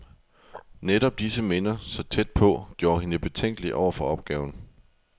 Netop disse minder, så tæt på, gjorde hende betænkelig over for opgaven.